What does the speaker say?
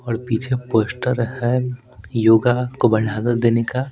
और पीछे पोस्टर हैयोगा को बढ़ावा देने का।